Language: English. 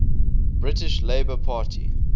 british labour party